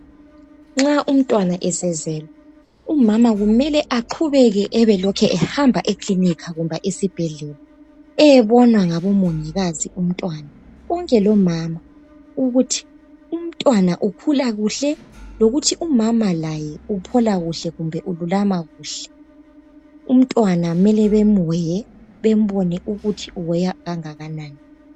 Nxa umntwana esezelwe umama kumele aqgubeke ebelokhu ehamba ekilinika kumbe esibhedlela, eyebonwa ngabomongikazi umntwana, bonke lomama, ukuthi umntwana ukhula kuhle, lokuthi umama laye uphola kuhle kumbe ululama kuhle. Umntwana kumele bemuweye, bembone ukuthi uweya kangakanani.